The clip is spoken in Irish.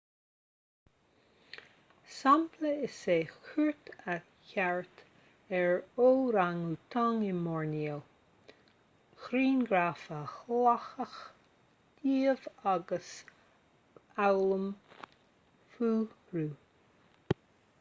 sampla is ea cuairt a thabhairt ar órang-útain i mboirneo grianghraif a ghlacadh díobh agus foghlaim fúthu